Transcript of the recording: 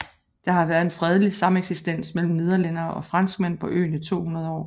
Der har været en fredelig sameksistens mellem nederlændere og franskmænd på øen i 200 år